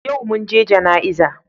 Yau mun je jana'iza.